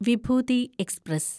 Vibhuti express